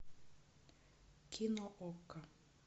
кино окко